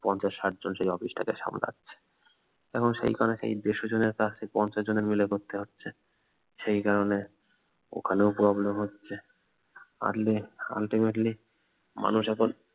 পঞ্চাশ ষাট জনের যে অফিস তাটাকে সামলাচ্ছে এবং সেখানেই সেই দেড়শো জনের কাজ কে পঞ্চাশ জন মিলে করতে হচ্ছে সেই কারনে ওখানেও problem হচ্ছে পারলে ultimately মানুষ এখন